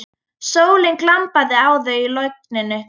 Sólin glampaði á þau í logninu.